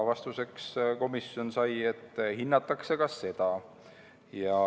Vastuseks sai komisjon teada, et hinnatakse ka seda.